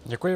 Děkuji.